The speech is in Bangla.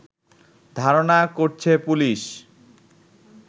ধারণা করছে পুলিশ